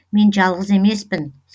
мен жалғыз емеспін